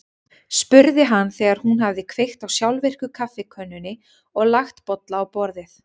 spurði hann þegar hún hafði kveikt á sjálfvirku kaffikönnunni og lagt bolla á borðið.